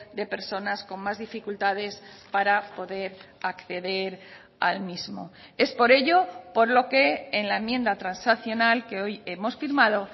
de personas con más dificultades para poder acceder al mismo es por ello por lo que en la enmienda transaccional que hoy hemos firmado